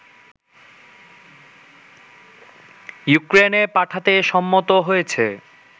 ইউক্রেনে পাঠাতে সম্মত হয়েছে